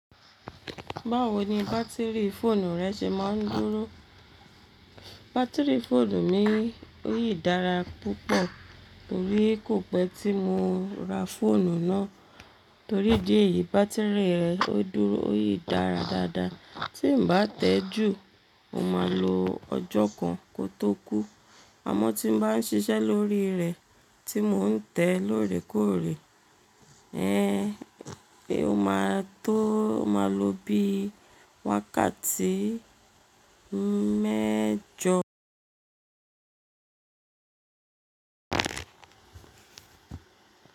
Báwo ni bátìrì fóònù rẹ ṣe máa ń dúró? Bátìrì fóònù mi ó yí dára púpọ̀ torí kò pẹ́ tí mo ra fóònù náà. Torí dí èyí bátìrì rẹ̀ ó dúró ó yí dára dáadáa. Tí n bá tẹ́ẹ ju o máa lo ọjọ́ kan kó tó kú. Àmọ́ tí n bá ń ṣiṣẹ́ lórí rẹ̀ tí mò ń tẹ́ẹ lórèkòrè, ẹ, ó máa tó máa lo bí wákàtí mẹ́jọ.